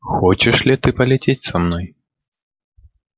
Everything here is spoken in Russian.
хочешь ли ты полететь со мной